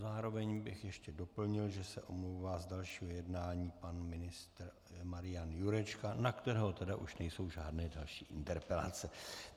Zároveň bych ještě doplnil, že se omlouvá z dalšího jednání pan ministr Marian Jurečka, na kterého tedy už nejsou žádné další interpelace.